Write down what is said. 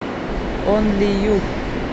онли ю